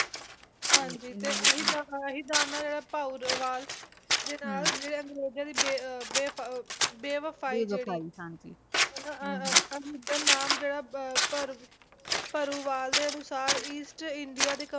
ਹਾਂਜੀ ਤੇ ਆਹੀ ਦਾਨ ਆਹੀ ਦਾਨ ਆ ਭਾਊਰਵਾਲ ਦੇ ਨਾਲ ਅੰਗਰੇਜ਼ਾਂ ਦੀ ਬੇ ਬੇ ਬੇਵਫ਼ਾਈ ਅਹ ਅਹ ਦਾ ਨਾਮ ਜਿਹੜਾ ਭਰੂ ਭਰੂਵਾਲ ਦੇ ਅਨੁਸਾਰ east india ਦੇ